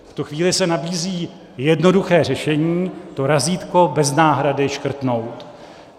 V tu chvíli se nabízí jednoduché řešení - to razítko bez náhrady škrtnout.